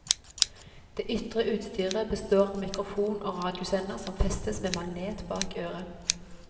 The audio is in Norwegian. Det ytre utstyret består av mikrofon og radiosender som festes med magnet bak øret.